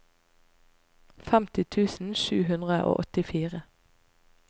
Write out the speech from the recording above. femti tusen sju hundre og åttifire